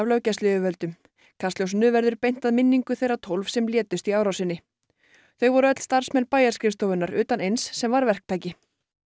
löggæsluyfirvöldum kastljósinu verður beint að minningu þeirra tólf sem létust í árásinni þau voru öll starfsmenn bæjarskrifstofunnar utan eins sem var verktaki